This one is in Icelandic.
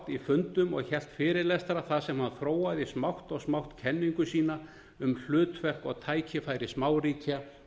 í fundum og hélt fyrirlestra þar sem hann þróaði smátt og smátt kenningu sína um hlutverk og tækifæri smáríkja